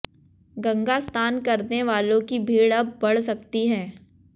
गंगा स्नान करने वालों की भीड़ अब बड़ सकती है